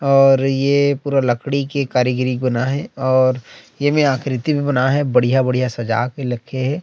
और ये पूरा लकड़ी के कारीगरी बनाये हे और ये में आकृति भी बनाये हे बढ़िया-बढ़िया सजा के रखे हे।